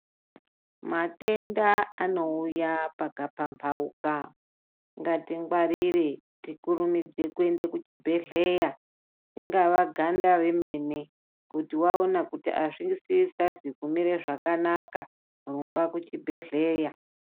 Matenda anouya pakapamphauka. Ngatingwarire tikurumidze kuende kuchibhedhleya ,ringava ganda remene, kuti waona kuti azvisazi kumira zvakanaka ,rumba kuchibhedhleya.